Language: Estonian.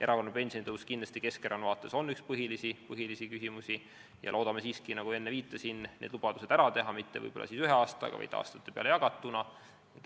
Erakorraline pensionitõus on Keskerakonna vaates kindlasti üks põhilisi küsimusi ja loodame siiski, nagu enne viitasin, need lubadused täita, mitte võib-olla küll ühe aastaga, vaid aastate peale jagatuna.